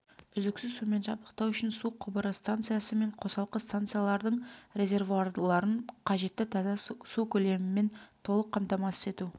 үздіксіз сумен жабдықтау үшін су құбыры станциясы мен қосалқы станциялардың резервуарларын қажетті таза су көлемімен толық қамтамасыз ету